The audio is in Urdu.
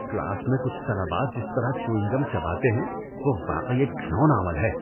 کلاس میں کچھ طلبہ جس طرح چیونگ گم چباتے ہیں وہ واقعی ایک گھناؤنا عمل ہے۔